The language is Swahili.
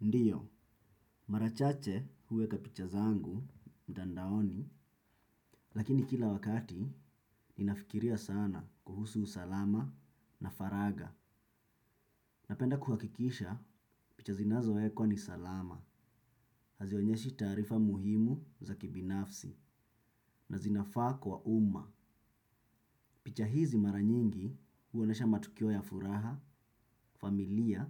Ndiyo, marachache huweka picha zangu, mtandaoni, lakini kila wakati ninafikiria sana kuhusu usalama na faraga. Napenda kuhakikisha picha zinazo ekwa ni salama, hazionyeshi tarifa muhimu za kibinafsi na zinafaa kwa umma. Picha hizi maranyingi huonesha matukio ya furaha, familia